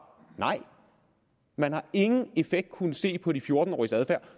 nej man har ingen effekt kunnet se på de fjorten